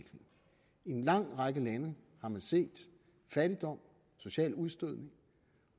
en lang række lande har man set fattigdom social udstødelse